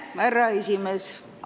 Austatud härra esimees!